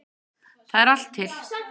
Það er allt til.